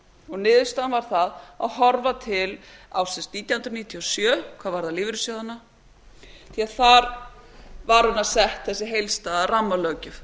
rannsaka niðurstaðan varð sú að horfa til ársins nítján hundruð níutíu og sjö hvað varðar lífeyrissjóðina því þar var raunar sett þessi heildstæða rammalöggjöf